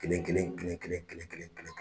Kelen kelen kelen kelen